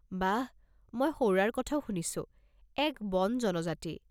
বাহ! মই সৌৰাৰ কথাও শুনিছো এক বন জনজাতি।